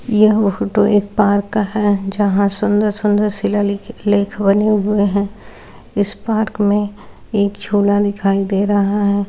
यह फोटो एक पार्क का है जहा सुन्दर सुन्दर शिलालेख बने हुए है इस पार्क में एक झूला दिखाई दे रहा है।